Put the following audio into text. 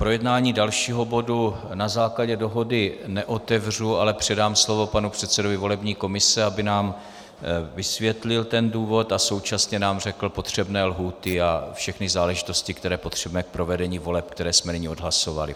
Projednávání dalšího bodu na základě dohody neotevřu, ale předám slovo panu předsedovi volební komise, aby nám vysvětlil ten důvod a současně nám řekl potřebné lhůty a všechny záležitosti, které potřebujeme k provedení voleb, které jsme nyní odhlasovali.